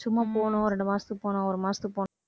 சும்மா போகணும் ரெண்டு மாசத்துக்கு போகணும் ஒரு மாசத்துக்கு போகணும்